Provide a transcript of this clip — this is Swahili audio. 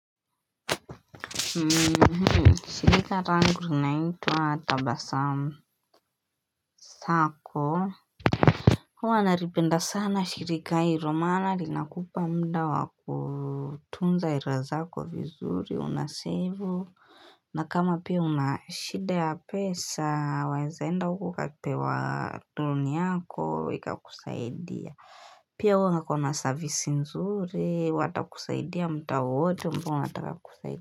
Shirika langu linaitwa tabasamu Sako Huwa nalipenda sana shirika hilo maana linakupa mda wa kutunza hela zaka vizuri unasevu na kama pia unashida ya pesa waezaenda huko ukapewa loan yako ikakusaidia Pia huwa hako na service nzuri watakusaidia mtaa wote mbona unataka kusaidia.